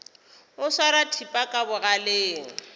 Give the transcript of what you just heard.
o swara thipa ka bogaleng